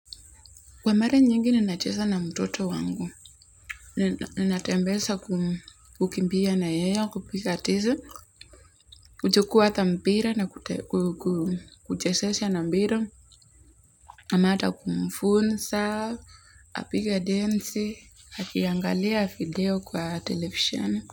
Kwa mara nyingine nacheza na mtoto wangu, natembeza kukimbia na yeye, kupiga tizi kuchukua hata mpira na kuchezesha na mpira ama hata kumfunza tupige densi akiangalia video kwa televisheni.